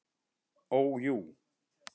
Ó jú.